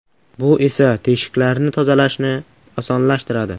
Bu esa teshiklarni tozalashni osonlashtiradi.